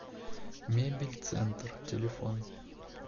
мебель центр телефон